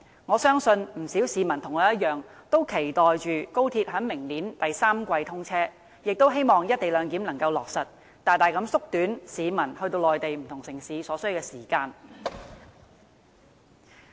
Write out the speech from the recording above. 我相信不少市民跟我一樣，期待高鐵明年第三季通車，也希望能夠落實"一地兩檢"，大大縮短前往內地不同城市所需要的時間。